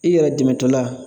I yɛrɛ dɛmɛtɔla